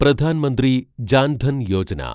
Pradhan Mantri Jan Dhan Yojana